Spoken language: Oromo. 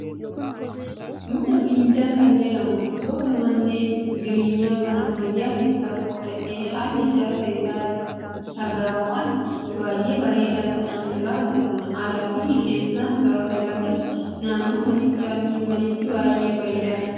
Mana viillaa kan jedhamu gosoota manneen jireenyaa kan ammayyaa keessaa tokko ta'ee, haalli ijaarsa isaa dhagaawwan baay'ee bareedaa ta'an irraa hojjatama. Alaa fi keessaan gaafa ilaallus naannoon manichaa fi manichi baay'ee bareeda.